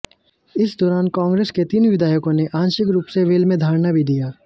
इस दौरान कांग्रेस के तीन विधायकों ने आंशिक रूप से वेल में धरना भी दिया